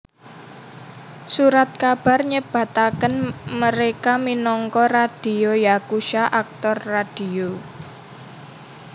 Surat kabar nyebataken mereka minangka radio yakusha aktor radio